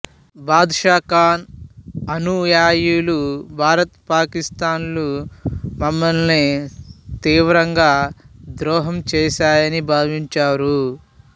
బాద్షా ఖాన్ అనుయాయులు భారత పాకిస్తాన్ లు మమ్మల్ని తీవ్రంగా ద్రోహం చేశాయని భావించారు